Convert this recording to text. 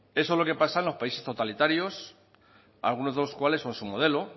eso es lo que pasa en los países totalitarios algunos de los cuales son su modelo